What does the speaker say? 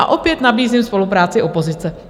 A opět nabízím spolupráci opozice.